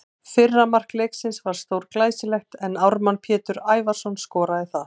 Fyrra mark leiksins var stórglæsilegt en Ármann Pétur Ævarsson skoraði það.